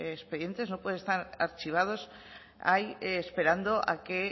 expedientes no pueden estar archivados ahí esperando a que